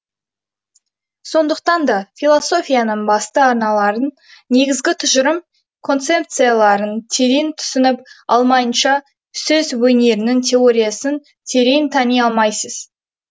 сондықтан да философияның басты арналарын негізгі тұжырым концепцияларын терең түсініп алмайынша сөз өнерінің теориясын терең тани алмайсыз